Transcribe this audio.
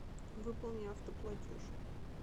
выполни автоплатеж